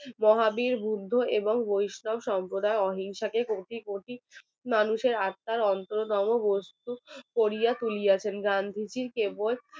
মহাবীর বুদ্ধ এবং বৈষ্ণব সম্প্রদায় অহিংসাকে কোটি কোটি মানুষের আত্মার অন্তরতম বস্তু করিয়া তুলিয়াছেন গান্ধীজি কেবল